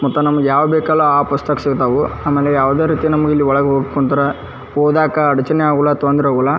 ಮತ್ತ ನಮಗ ಯಾವ್ ವೆಹಿಕಲ್ ಆಹ್ಹ್ ಸಿಗ್ತಾವು. ಆಮ್ಯೆಲೆ ಯಾವದೇ ರೀತಿ ನಮಗ ಇಲ್ಲಿ ಒಳಗ್ ಹೋಗ್ಬೇಕ ಅಂದ್ರ ಓದಾಕ ಅಡಚಣೆ ಆಗ್ಲತು ತೊಂದ್ರೆ ಆವುಲ್ಲ--